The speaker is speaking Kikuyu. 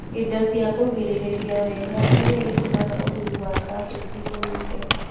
Indo cia kwĩgirĩrĩria wega iria itũmaga ũrĩmi wa kabici ũnyihe